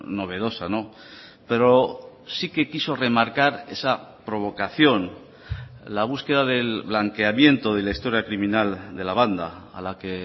novedosa pero sí que quiso remarcar esa provocación la búsqueda del blanqueamiento de la historia criminal de la banda a la que